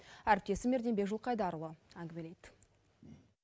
әріптесім ерденбек жылқайдарұлы әңгімелейді